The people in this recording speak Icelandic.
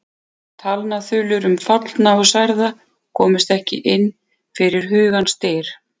Talnaþulur um fallna og særða komust ekki inn fyrir hugans dyr.